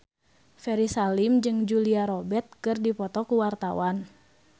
Ferry Salim jeung Julia Robert keur dipoto ku wartawan